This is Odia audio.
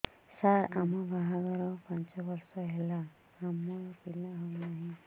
ସାର ଆମ ବାହା ଘର ପାଞ୍ଚ ବର୍ଷ ହେଲା ଆମର ପିଲା ହେଉନାହିଁ